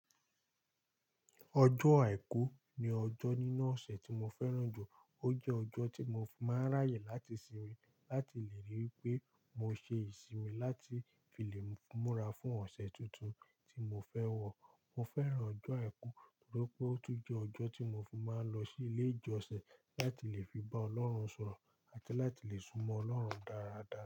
Ọjọ́ àìkú ni ọjọ́ nínú ọ̀sẹ̀ tí mo fẹ́ràn jù. Ó jẹ́ ọjọ́ tí mo fi maa ń ráyè láti sinmi láti lè rí wipé mo ṣe ìsinmi láti fi lè múra fún ọ̀sẹ̀ tuntun tí mo fẹ́ wọ̀. Mo fẹ́ràn ọjọ́ àìkú nítorí pé ó tún jẹ́ ọjọ́ tí mo fi máa ń lọ sí ilé ìjọsìn láti lè fi bá Ọlọ́run sọ̀rọ̀ àti láti lè sún mọ́ Ọlọ́run dáradára.